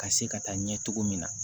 Ka se ka taa ɲɛ cogo min na